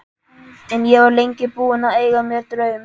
En ég var lengi búin að eiga mér draum.